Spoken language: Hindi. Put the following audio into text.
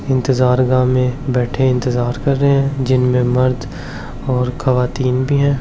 इंतजारगाह में बैठे इंतजार कर रहे है जिनमें मर्द और ख्वातीन भी है।